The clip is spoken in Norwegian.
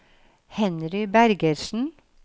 Henry Bergersen